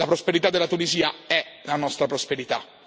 La prosperità della Tunisia è la nostra prosperità.